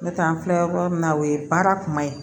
N'o tɛ an filɛ yɔrɔ min na o ye baara kuma ye